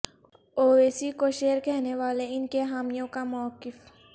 اویسی کو شیر کہنے والے ان کے حامیوں کا موقف